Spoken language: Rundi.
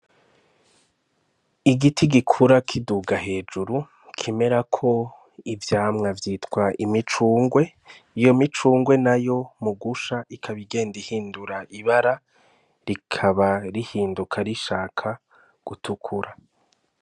Igiti gikura kiduga hejuru kimerako ivyamwa vyitwa imicungwe, iyo micungwe nayo mu gusha ikaba igenda ihindura ibara rikaba rihinduka rishaka gutukura.